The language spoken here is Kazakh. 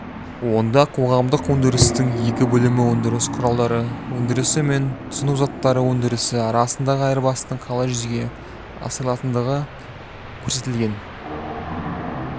онда қоғамдық өндірістің екі бөлімі өндіріс құралдары өндірісі мен тұтыну заттары өндірісі арасындағы айырбастың қалай жүзеге асырылатындығы көрсетілген